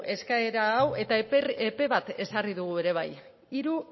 eskaera hau eta epe bat ezarri dugu ere bai hiru